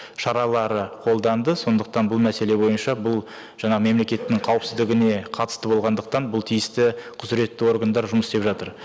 шаралары қолданды сондықтан бұл мәселе бойынша бұл жаңағы мемлекеттің қауіпсіздігіне қатысты болғандықтан бұл тиісті құзыретті органдар жұмыс істеп жатыр